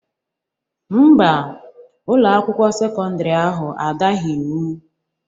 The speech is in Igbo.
Ḿbà, Ụlọ akwụkwọ sekọndrị ahụ adaghi iwu.